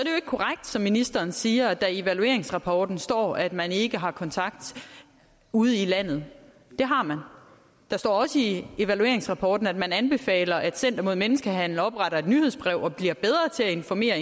korrekt som ministeren siger at der i evalueringsrapporten står at man ikke har kontakt ude i landet det har man der står også i evalueringsrapporten at man anbefaler at center mod menneskehandel opretter et nyhedsbrev og bliver bedre til at informere